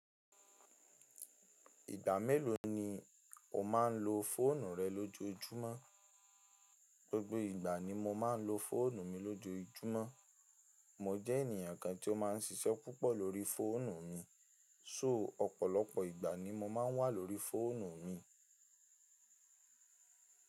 Ìgbà mélòó ni o máa ń lo fóònù rẹ lójoójúmọ́? Gbogbo ìgbà ni mo máa ń lo fóònù mi lójoójúmọ́. Mo jẹ́ ènìyàn kan tí ó máa ń ṣiṣẹ́ púpọ̀ lórí fóònù mi. So ọ̀pọ̀lọpọ̀ ìgbà ni mo máa ń wà lórí fóònù mi.